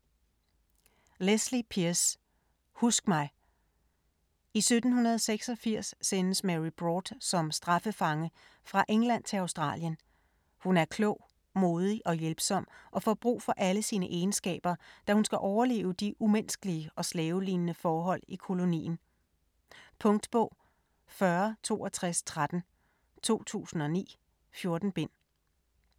Pearse, Lesley: Husk mig! I 1786 sendes Mary Broad som straffefange fra England til Australien. Hun er klog, modig og hjælpsom og får brug for alle sine egenskaber, da hun skal overleve de umenneskelige og slavelignende forhold i kolonien. Punktbog 406213 2009. 14 bind.